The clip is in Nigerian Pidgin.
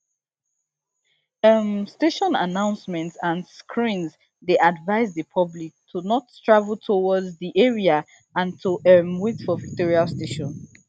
um station announcements and screens dey advise di public to not travel towards di area and to um wait for victoria station